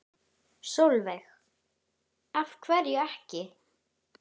Sólveig: Af hverju ekki?